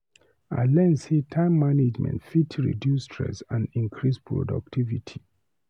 I learn sey time management fit reduce stress and increase productivity.